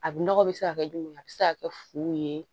A nɔgɔ bɛ se ka kɛ jumɛn a bɛ se ka kɛ fu ye